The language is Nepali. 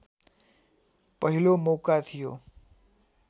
पहिलो मौका थियो